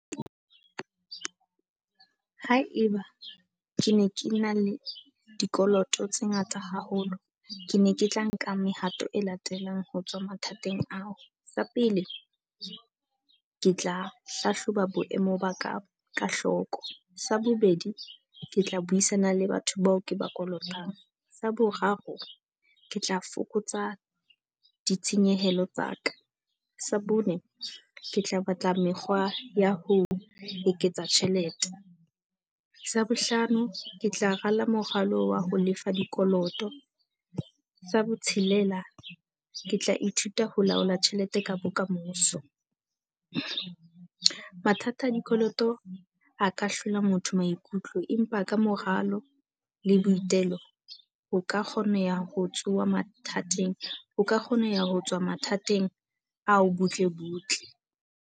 Haeba ke ne ke na le dikoloto tse ngata haholo, ke ne ke tla nka mehato e latelang ho tswa mathateng ao. Sa pele, ke tla hlahloba boemo ba ka ka hloko. Sa bobedi, ke tla buisana le batho bao ke ba kolotang. Sa boraro, ke tla fokotsa ditshenyehelo tsa ka. Sa bone, ke tla batla mekgwa ya ho eketsa tjhelete. Sa bohlano, ke tla rala moralo wa ho lefa dikoloto. Sa botshelela, ke tla ithuta ho laola tjhelete ka bokamoso. Mathata a dikoloto a ka hlola motho maikutlo, empa ka moralo le boitelo, o ka kgoneha ho tsoha mathateng, o ka kgona ho ya ho tswa mathateng ao butle butle.